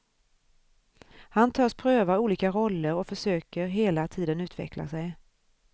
Han törs pröva olika roller och försöker hela tiden utveckla sig.